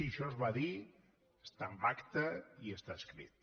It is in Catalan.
això es va dir està en acta i està escrit